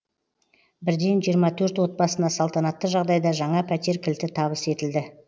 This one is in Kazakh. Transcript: бірден жиырма төрт отбасына салтанатты жағдайда жаңа пәтер кілті табыс етілді